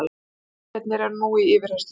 Báðir mennirnir eru nú í yfirheyrslu